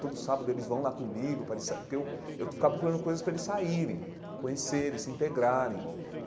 Todo sábado eles vão lá comigo para eles sa, porque eu eu ficava procurando coisas para eles saírem, conhecerem, se integrarem.